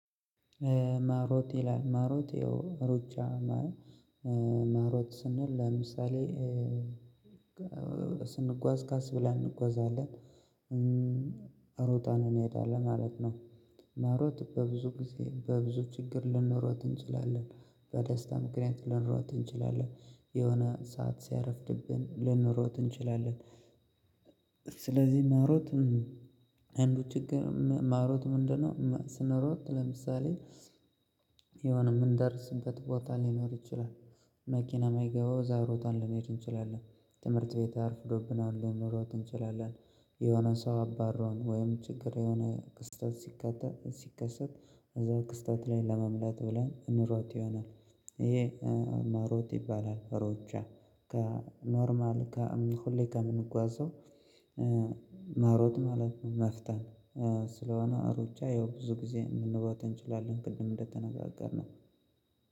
ማራቶን ላይ ማራቶን ሩጫ መሮጥ ስንል ለምሳሌ ስንጓዝ ካስ ብላ እንጓዛለን። ሮጣን እኔ እሄዳለሁ ማለት ነው። ማሮት በብዙ ጊዜ በብዙ ችግር ልንሮት እንችላለን። በደስታ ምክሬን ልንሮጥ እንችላለን። የሆነ ሰዓት ሲያረፍድብን ልንሮጥ እንችላለን። ስለዚህ መሮጥ አንዱ ችግር መሮጥ ምንድነው? ስንሮጥ ለምሳሌ የሆነ ምን ደርስን በት ቦታ ሊኖር ይችላል። መኪና የማይገባው ዛሬ ሮታን ሊኖር ይችላል። ትምህርት ቤት አርፍዶብናል ልንሄድ እንችላለን። የሆነ ሰው አባረውን ወይም ችግር የሆነ ቅስተት። ሲከተት እዛ ክስተት ላይ ለመምላት ብለን እንሮጥ ይሆናል። ይሄ መሮጥ ይባላል ሮጃጣ ከኖርማል ከሁሌ ከምንጓዘው። መሮጥ ማለት ነው። መፍተን ስለሆነ አሩጫ ያው ብዙ ጊዜ ልንባባን እንችላለን ቅድም እንደተነጋገርነው